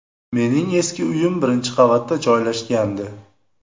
Mening eski uyim birinchi qavatda joylashgandi.